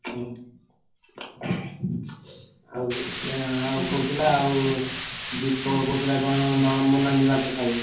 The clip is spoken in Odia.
ହୁଁ ଆଉ ସିଏ ଆଉ କହୁଥିଲା ଆଉ ଦୀପକ କହୁଥିଲା କଣ ନାଲି ମାଛ ଖାଇବ।